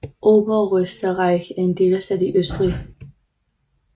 Oberösterreich er en delstat i Østrig